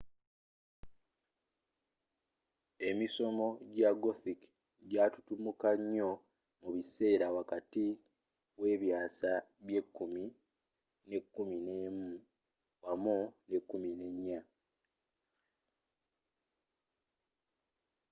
emisomo ja gothic jatutumuka nyoo mubiseera wakati w'ebyasa bye 10 ne 11 wamu ne 14